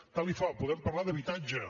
tant li fa podem parlar d’habitatge